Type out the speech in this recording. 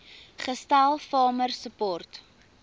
gestel farmer support